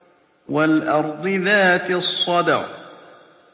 وَالْأَرْضِ ذَاتِ الصَّدْعِ